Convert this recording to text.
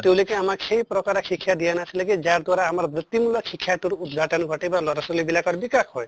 তেওঁলোকে আমাক সেই প্ৰকাৰে শিক্ষা দিয়া নাছিলে কি যাৰ দ্বাৰা আমাৰ বৃত্তিমূলক শিক্ষাতোৰ উদ্ঘাটন ঘটে বা লʼৰা ছোৱালী বিলাকৰ বিকাশ হয়